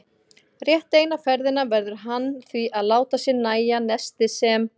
Rétt eina ferðina verður hann því að láta sér nægja nestið sem